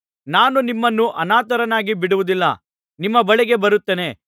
ನಾನು ನಿಮ್ಮನ್ನು ಅನಾಥರನ್ನಾಗಿ ಬಿಡುವುದಿಲ್ಲ ನಿಮ್ಮ ಬಳಿಗೆ ಬರುತ್ತೇನೆ